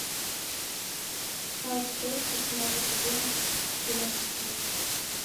часть шесть восьмого сезона кино кухня